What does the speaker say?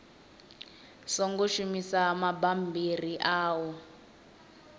songo shumisa mabammbiri a u